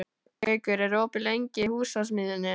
Gaukur, er opið í Húsasmiðjunni?